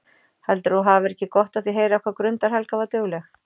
Heldurðu að þú hafir ekki gott af því að heyra hvað Grundar Helga var dugleg?